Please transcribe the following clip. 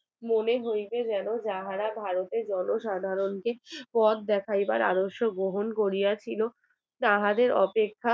মনে হইতে গেল যাহারা ভারতের জনসাধারণকে পথ দেখাইবার আদর্শ গ্রহণ করিয়াছিল তাহাদের অপেক্ষা